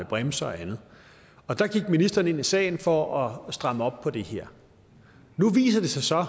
bremser og andet der gik ministeren ind i sagen for at stramme op på det her nu viser det sig så